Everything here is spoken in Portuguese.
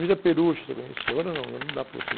Vila Peruche, você conhecia, agora não, não dá para você